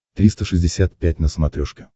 триста шестьдесят пять на смотрешке